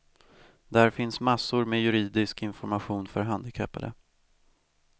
Där finns massor med juridisk information för handikappade.